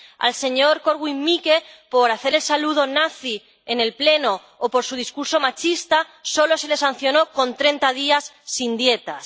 Al señor Korwin Mikke por hacer el saludo nazi en el Pleno o por su discurso machista solo se le sancionó con treinta días sin dietas.